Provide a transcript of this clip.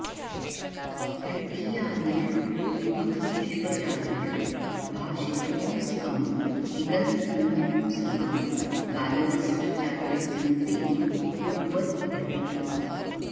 तृतीयादिषु विभक्तिष्वजादिषु भाषितपुंस्कम् इगन्तं नपुंसकं गालवस्याचार्यस्य मतेन पुंवद् भवति